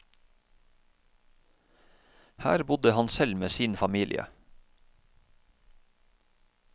Her bodde han selv med sin familie.